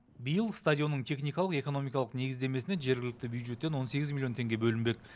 биыл стадионның техникалық экономикалық негіздемесіне жергілікті бюджеттен он сегіз миллион теңге бөлінбек